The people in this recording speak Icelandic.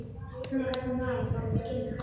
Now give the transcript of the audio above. Svona gat hún nagað okkur inn að skinni.